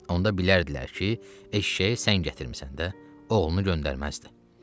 Onda bilərdilər ki, eşşəyi sən gətirmisən də, oğlunu göndərməzdi.